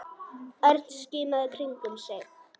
Örn skimaði í kringum sig.